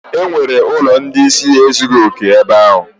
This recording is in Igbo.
E nwere ụlọ ndị ịsị ezughi oke ebe a?